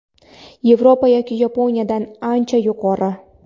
Yevropa yoki Yaponiyadagidan ancha yuqori.